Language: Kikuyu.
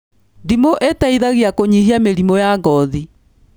Ndimũ ĩteithagia kũnyihia mĩrimu ya ngothi